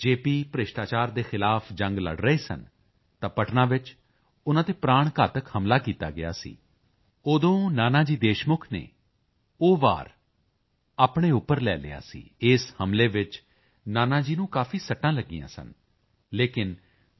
ਭ੍ਰਿਸ਼ਟਾਚਾਰ ਦੇ ਖ਼ਿਲਾਫ਼ ਜੰਗ ਲੜ ਰਹੇ ਸਨ ਤਾਂ ਪਟਨਾ ਵਿੱਚ ਉਨ੍ਹਾਂ ਤੇ ਪ੍ਰਾਣ ਘਾਤਕ ਹਮਲਾ ਕੀਤਾ ਗਿਆ ਸੀ ਉਦੋਂ ਨਾਨਾ ਜੀ ਦੇਸ਼ਮੁਖ ਨੇ ਉਹ ਵਾਰ ਆਪਣੇ ਉਪਰ ਲੈ ਲਿਆ ਸੀ ਇਸ ਹਮਲੇ ਵਿੱਚ ਨਾਨਾ ਜੀ ਨੂੰ ਕਾਫੀ ਸੱਟਾਂ ਲੱਗੀਆਂ ਸਨ ਲੇਕਿਨ ਜੇ